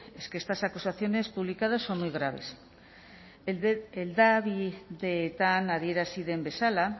es que estas acusaciones publicadas son muy graves hedabideetan adierazi den bezala